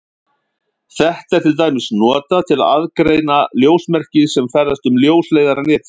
Þetta er til dæmis notað til að aðgreina ljósmerki sem ferðast um ljósleiðaranetið.